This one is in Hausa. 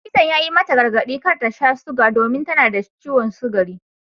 Likitan ya yi mata gargadi kar ta sha suga domin tana da ciwon sugari.